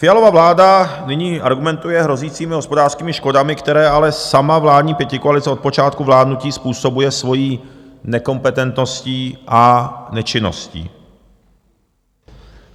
Fialova vláda nyní argumentuje hrozícími hospodářskými škodami, které ale sama vládní pětikoalice od počátku vládnutí způsobuje svojí nekompetentností a nečinností.